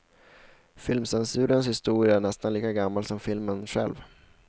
Filmcensurens historia är nästan lika gammal som filmen själv.